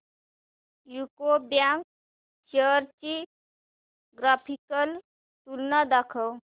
UCO bank shares ची graphical तुलना दाखव